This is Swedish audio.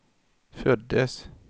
föddes